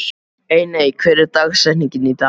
Einey, hver er dagsetningin í dag?